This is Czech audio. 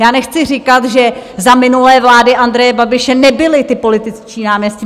Já nechci říkat, že za minulé vlády Andreje Babiše nebyli ti političtí náměstci.